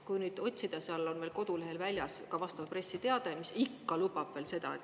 Kui nüüd otsida, siis seal on veel kodulehel väljas ka vastav pressiteade, mis ikka lubab veel seda.